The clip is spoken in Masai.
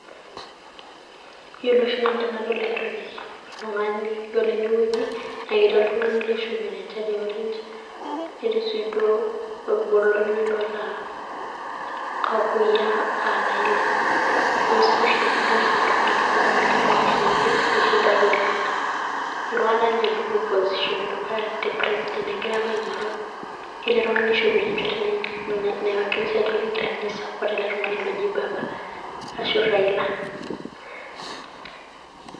Yielo oshi Nanu tenadol entoki oltung'ani yelo ene weuji naa ketii oltung'ani oishopito enchati eorange, netii sii duo eibotare olotaa kuyiaa aa Raila. Ore sii oshi tenadol ele Tung'ani nadamu ajo eishindaki oleng'. Eitu aekata inye etum position edukuya egira aapa aing'oru. Ore ele Tung'ani neishopito enchati naiwakilisha ajo kegira ninye aisapoot ele Tung'ani oji Baba ashu Raila.